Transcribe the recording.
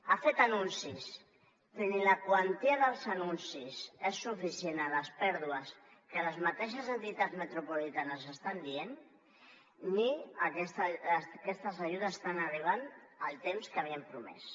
ha fet anuncis però ni la quantia dels anuncis és suficient per les pèrdues que les mateixes entitats metropolitanes estan dient ni aquestes ajudes estan arribant en el temps que havien promès